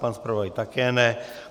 Pan zpravodaj také ne.